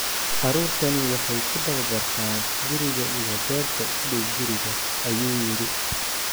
Caruurtani waxay ku tababartaan guriga iyo beerta u dhow guriga," ayuu yidhi."